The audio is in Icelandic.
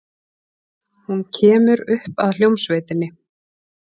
Hún kemur upp að hljómsveitinni.